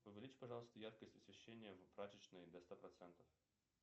увеличь пожалуйста яркость освещения в прачечной до ста процентов